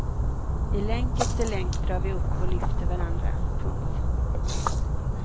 I länk efter länk drar vi upp och lyfter varandra. punkt